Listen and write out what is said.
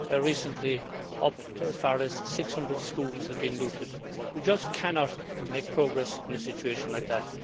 recently, as many as 600 schools have been looted. We just cannot make progress in a situation like that.